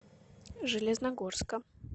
железногорска